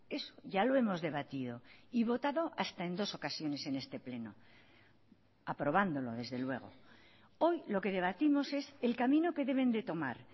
eso ya lo hemos debatido y votado hasta en dos ocasiones en este pleno aprobándolo desde luego hoy lo que debatimos es el camino que deben de tomar